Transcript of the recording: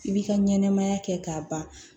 I bi ka ɲɛnɛmaya kɛ k'a ban